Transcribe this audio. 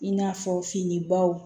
I n'a fɔ fini baw